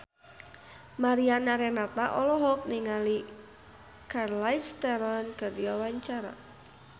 Mariana Renata olohok ningali Charlize Theron keur diwawancara